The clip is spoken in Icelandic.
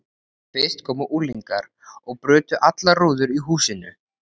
Fyrst komu unglingar og brutu allar rúður í húsinu.